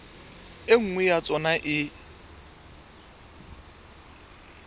e nngwe ya tsona e